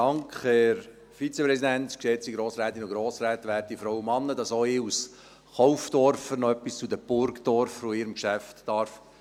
Danke, dass auch ich als Kaufdorfer noch etwas zu diesem Burgdorfer Geschäft sagen darf!